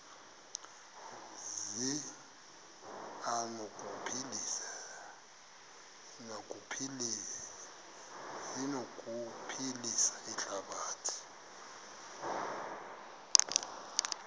zi anokuphilisa ihlabathi